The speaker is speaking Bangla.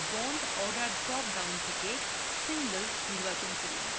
bond order drop down থেকে single নির্বাচন করুন